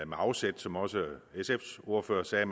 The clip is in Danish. med afsæt som også sfs ordfører sagde